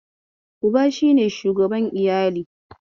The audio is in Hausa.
Uba shi ne shugaban iyali